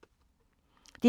DR2